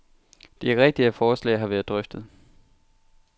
Det er rigtigt, at forslaget har været drøftet.